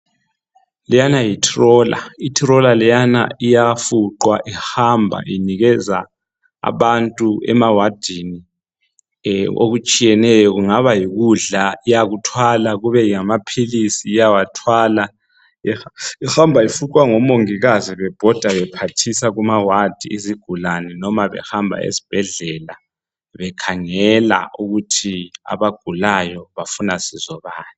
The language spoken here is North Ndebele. Leyana yi troller. Itroller leyana iyafuqwa ihamba inikeza abantu emawadini, ehh! okutshiyeneyo. Kungaba yikudla iyakuthwala, kube ngamaphilisi iyawathwala. Ihamba ifuqwa ngomongikazi bebhoda bephathisa kuma wadi Izigulane noba behamba ezibhedlela, bekhangela ukuthi abagulayo bafuna sizo bani.